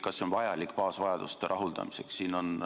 Kas see on vajalik baasvajaduste rahuldamiseks?